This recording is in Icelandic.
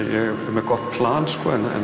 með gott plan en